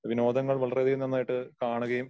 വിനോദങ്ങൾ വളരെയധികം നന്നായിട്ട് കാണുകയും